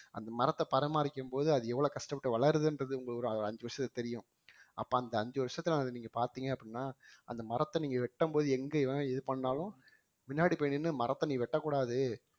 அந்த மரத்த பரமாரிக்கும் போது அது எவ்வளவு கஷ்டப்பட்டு வளருதுன்றது உங்களுக்கு ஒரு அஞ்சு வருஷத்துக்கு தெரியும் அப்ப அந்த அஞ்சு வருஷத்துல அதை நீங்க பார்த்தீங்க அப்படின்னா அந்த மரத்த நீங்க வெட்டும்போது எங்க இது பண்ணாலும் பின்னாடி போய் நின்னு மரத்த நீ வெட்டக்கூடாது